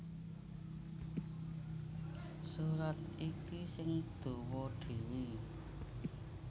Surat iki sing dawa dhéwé